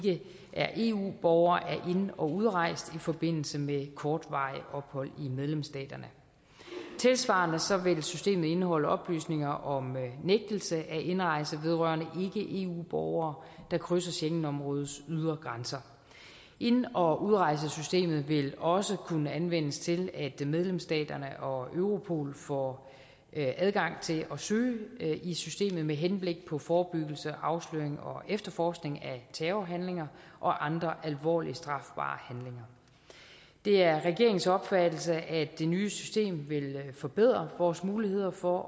er eu borgere er ind og udrejst i forbindelse med kortvarigt ophold i medlemsstaterne tilsvarende vil systemet indeholde oplysninger om nægtelse af indrejse vedrørende ikke eu borgere der krydser schengenområdets ydre grænser ind og udrejsesystemet vil også kunne anvendes til at medlemsstaterne og europol får adgang til at søge i systemet med henblik på forebyggelse afsløring og efterforskning af terrorhandlinger og andre alvorlige strafbare handlinger det er regeringens opfattelse at det nye system vil forbedre vores muligheder for